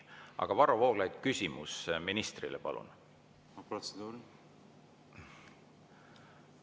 Aga Varro Vooglaid, küsimus ministrile, palun!